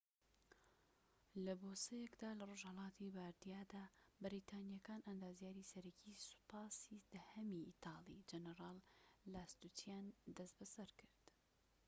لە بۆسەیەکدا لە ڕۆژهەڵاتی باردیادا بەریتانیەکان ئەندازیاری سەرەکیی سوپاسی دەهەمی ئیتاڵی جەنەرال لاستوچییان دەست بەسەرکرد